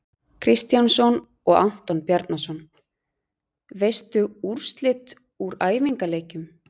Kristjánsson og Anton Bjarnason.Veistu úrslit úr æfingaleikjum?